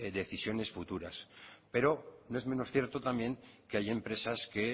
decisiones futuras pero no es menos cierto también que hay empresas que